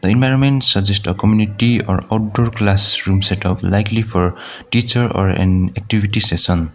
environment suggest a community or outdoor classroom setup likely for teacher or an activity session.